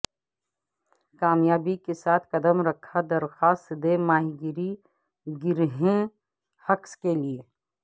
کامیابی کے ساتھ قدم رکھا درخواست دے ماہی گیری گرہیں ہکس کے لئے